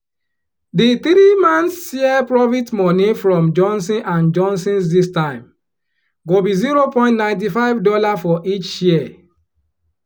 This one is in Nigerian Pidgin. di three months share profit money from johnson & johnson's this time go be zero point nighty five dollar for each share